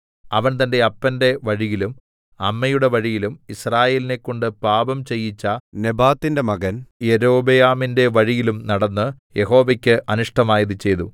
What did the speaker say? അവൻ തന്റെ അപ്പന്റെ വഴിയിലും അമ്മയുടെ വഴിയിലും യിസ്രായേലിനെക്കൊണ്ട് പാപം ചെയ്യിച്ച നെബാത്തിന്റെ മകൻ യൊരോബെയാമിന്റെ വഴിയിലും നടന്ന് യഹോവയ്ക്ക് അനിഷ്ടമായത് ചെയ്തു